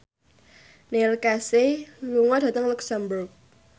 Neil Casey lunga dhateng luxemburg